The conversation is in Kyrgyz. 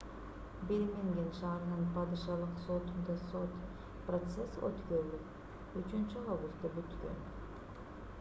бирмингем шаарынын падышалык сотунда сот процесси өткөрүлүп 3-августта бүткөн